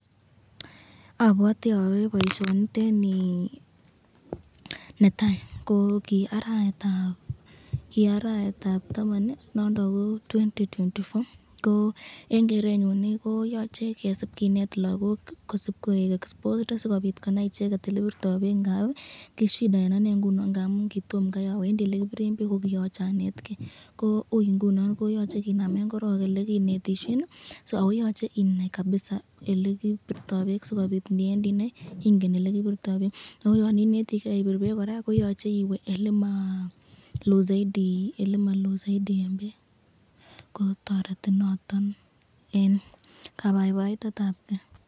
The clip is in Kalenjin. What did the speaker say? Abwate ayae baishoniteni netai, ko kiaraetab taman nondon ko 2024,ko eng kerenyun ii koyache kesib kinet lagok kodsib koek exposed ii sikobit konai icheket elekibirto bek ,ngamun ii ki shida eng anee ngamun kitomo kai awendi elekibiren bek , ko kiyachei anet ke , ko ui ingunon koyache kinamen koron elekinetisyeni ,yan inetiken elekibirto beek komayache iwe eleloen bek, ko toreti noton eng kabaibaitetab ken.